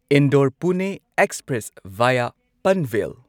Indore Pune express via Panvel